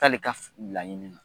K'ale ka laɲini na